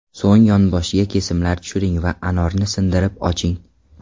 So‘ng yonboshiga kesimlar tushiring va anorni sindirib oching.